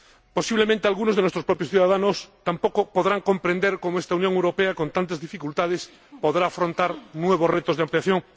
Posiblemente, algunos de nuestros propios ciudadanos tampoco puedan comprender cómo esta Unión Europea, con tantas dificultades, podrá afrontar nuevos retos de ampliación.